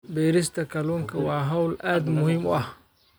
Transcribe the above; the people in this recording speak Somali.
Beerista kalluunka waa hawl aad muhiim u ah.